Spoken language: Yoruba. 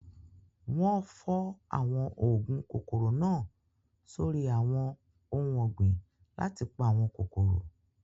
Wọ́n fọ́ àwọn oògùn kòkòrò náà sórí àwọn ohun ọ̀gbìn láti pa àwọn kòkòrò.